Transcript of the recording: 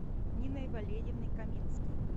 ниной валерьевной каминской